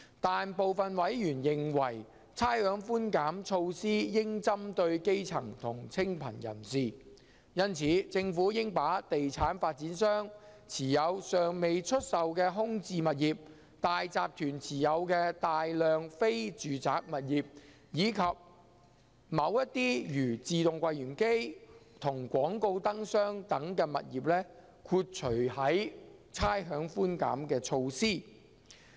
但是，部分委員認為差餉寬減措施應針對基層和清貧人士，因此政府應把地產發展商持有尚未出售的空置物業、大集團持有的大量非住宅物業，以及某些如自動櫃員機和廣告燈箱等物業豁除於差餉寬減措施。